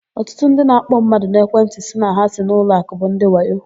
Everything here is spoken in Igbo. Ọtụtụ ndị na-akpọ mmadụ n'ekwentị sị na ha si n'ụlọakụ bụ ndị wayo.